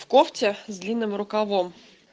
в кофте с длинным рукавом